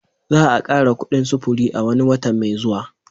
Za'a kara kuɗin sufuri a wani watan mai zuwa.